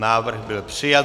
Návrh byl přijat.